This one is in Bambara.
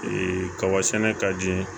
kaba sɛnɛ ka di